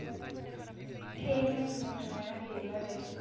Keyieu netum iltung'ana yieunot etipat